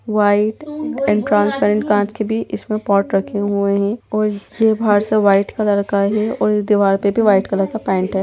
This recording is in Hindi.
व्हाइट एंड ट्रांसपेरेंट कांच के भी इसमें पॉट रखें हुए हैं और ये बाहर सब व्हाइट कलर का है और ये दीवार पे भी वाइट कलर का पेंट है।